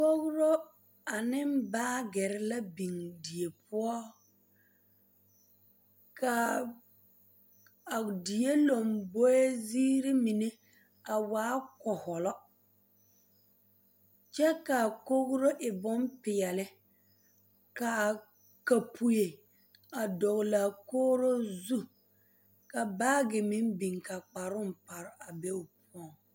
Kogro ane baagere la biŋ die poɔ ka a die lomboe ziiri mine a waa kɔhɔlɔ kyɛ ka a kogro e bompeɛle ka a kapoɛ a dɔgle a kogro zu ka baage meŋ biŋ ka kparoo pare a be o poɔŋ.